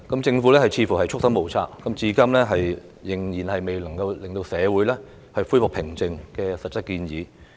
政府似乎束手無策，至今仍然未有能令社會恢復平靜的實質建議。